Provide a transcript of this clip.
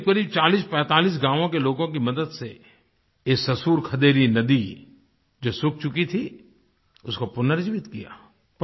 क़रीबक़रीब 4045 गाँवों के लोगों की मदद से इस ससुर खदेरी नदी जो सूख चुकी थी उसको पुनर्जीवित किया